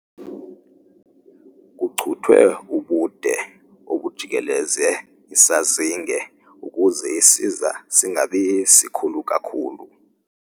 Kucuthwe ubude obujikeleze isazinge ukuze isiza singabi sikhulu kakhulu.